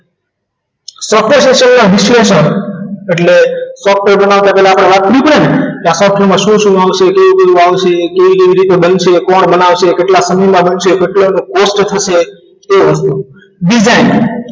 software system ના વિશ્લેષણ એટલે software બનાવતા પહેલા આપણે વાત કરવી પડે ને દાખલા તરીકે એમાં શું શું આવશે કેવી રીતે બનશે કોણ બનાવશે કેટલા funding માં બનશે કેટલી cost થશે તે બધું design